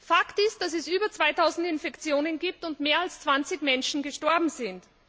Fakt ist, dass es über 2000 Infektionen gibt und mehr als 20 Menschen gestorben sind.